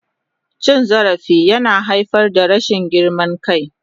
Cin zarafi yana haifar da rashin girman kai.